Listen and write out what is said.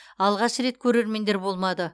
алғаш рет көрермендер болмады